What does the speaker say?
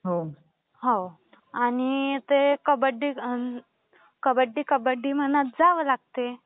हो आणि ते कबड्डी कबड्डी म्हणत जावे लागते.